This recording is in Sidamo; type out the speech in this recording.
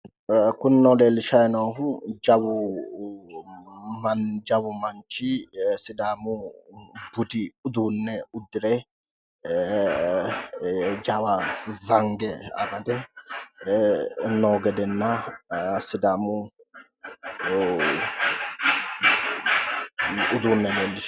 Misileta anaanni leellannohu sidaamunniha budu uduunne udirenna biife nootta leellishshanno